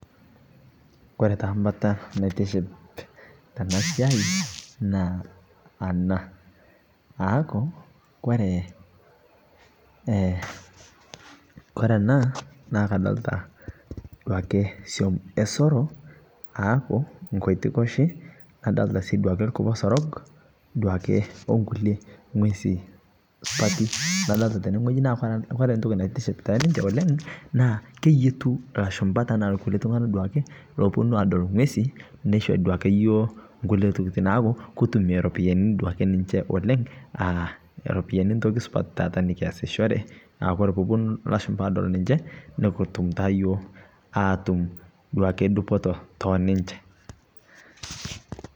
Kore taa mbataa naitiship tanaa siai naa anaa aaku kore anaa naa kadolitaa duake suom esoroo aaku nkoitikoshii nadolitaa sii duakee lkuposorog duake onkulie ng'wezii supatii nadolitaa tenee ng'ojii naa kore ntokii naitiship teninshe oleng' naa keyetuu lashumpaa tanaa duake loponuu adol ng'wezii neishoo duakee yooh nkulie tokitin aaku kutumie ropiyani duake ninshe oleng' aaropiyani ntoki supat nikiasishoree aakore pooponu lashumpaa adol ninshee nikitum taa yooh atum duake dupotoo teninshee.